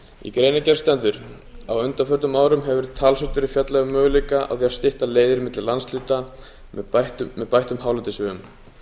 í greinargerð stendur á undanförnum árum hefur talsvert verið fjallað um möguleika á því að stytta leiðir milli landshluta með bættum hálendisvegum meðal annars